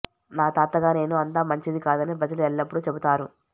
నా తాతగా నేను అంత మంచిది కాదని ప్రజలు ఎల్లప్పుడూ చెబుతారు